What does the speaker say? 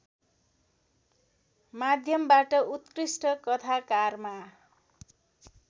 माध्यमबाट उत्कृष्ट कथाकारमा